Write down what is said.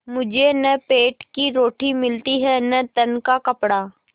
मुझे न पेट की रोटी मिलती है न तन का कपड़ा